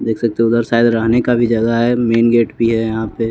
देख सकते हो उधर शायद रहने का भी जगह है मेन गेट भी है यहाँ पे --